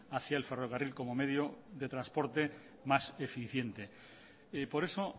hacía el ferrocarril como medio de transporte más eficiente por eso